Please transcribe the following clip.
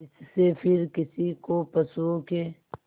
जिससे फिर किसी को पशुओं के